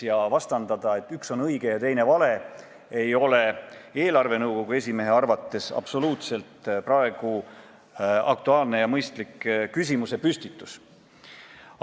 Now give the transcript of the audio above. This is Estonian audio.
Ja vastandamine, et üks on õige ja teine vale, ei ole eelarvenõukogu esimehe arvates praegu üldse mitte aktuaalne ja mõistlik küsimusepüstitus.